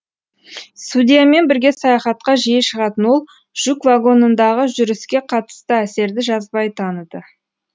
судьямен бірге саяхатқа жиі шығатын ол жүк вагонындағы жүріске қатысты әсерді жазбай таныды